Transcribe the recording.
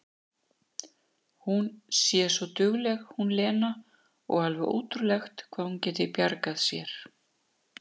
Hún sé svo dugleg hún Lena, og alveg ótrúlegt hvað hún geti bjargað sér!